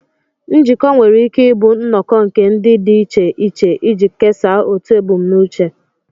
Njikọ nwere ike ịbụ nnọkọ nke ndị dị iche iche iji kesaa otu ebumnuche